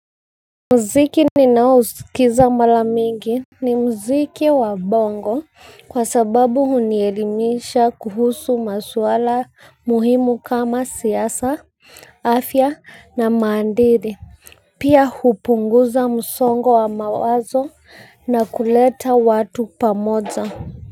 Muziki ninaohusikiza mara mingi ni muziki wa bongo kwa sababu hunielimisha kuhusu maswala muhimu kama siasa afya na maadili. Pia hupunguza msongo wa mawazo na kuleta watu pamoja.